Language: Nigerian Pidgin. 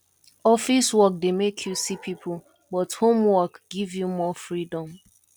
office work dey make you see people but home work give you more freedom